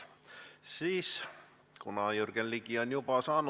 Ja kuhu on kadunud see 10 miljonit, mis oli 2019. aasta riigieelarve seaduse seletuskirjas?